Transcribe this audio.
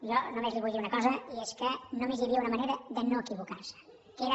jo només li vull dir una cosa i és que només hi havia una manera de no equivocar se que era